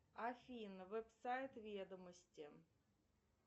афина вебсайт ведомости